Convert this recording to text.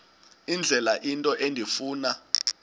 indlela into endifuna